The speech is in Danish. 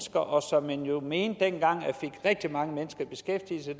og som man jo mente dengang fik rigtig mange mennesker i beskæftigelse